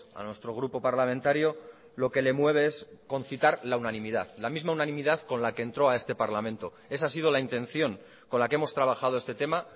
a nuestro grupo parlamentario lo que le mueve es concitar la unanimidad la misma unanimidad con la que entró a este parlamento esa ha sido la intención con la que hemos trabajado este tema